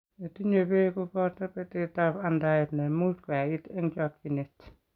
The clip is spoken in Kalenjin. Ne tinye beek ko boto betetab andaet ne much koyait eng' chokchinet.